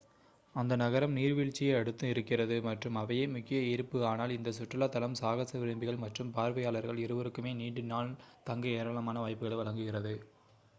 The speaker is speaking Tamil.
அந்த நகரம் நீர்வீழ்ச்சியை அடுத்து இருக்கிறது மற்றும் அவையே முக்கிய ஈர்ப்பு ஆனால் இந்த சுற்றுலா தலம் சாகச விரும்பிகள் மற்றும் பார்வையாளர்கள் இருவருக்குமே நீண்ட நாள் தங்க ஏராளமான வாய்ப்புகளை வழங்குகிறது